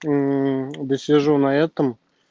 да сижу на этом